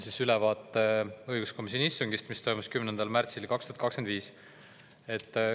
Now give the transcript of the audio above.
Teen ülevaate õiguskomisjoni istungist, mis toimus 10. märtsil 2025.